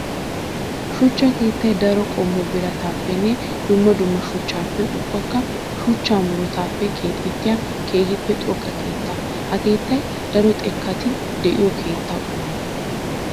Shuchcha keettay daro qommo biratappenne dumma dumma shuchchappe ubbakka shuchcha murutattuppe keexettiya keehippe xoqqa keetta. Ha keettay daro xekkati de'iyo keetta qommo.